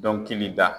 Dɔnkili da